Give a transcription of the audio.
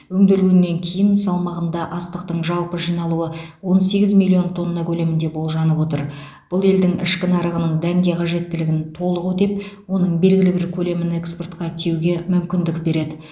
өңделгеннен кейінгі салмағында астықтың жалпы жиналуы он сегіз миллион тонна көлемінде болжанып отыр бұл елдің ішкі нарығының дәнге қажеттілігін толық өтеп оның белгілі бір көлемін экспортқа тиеуге мүмкіндік береді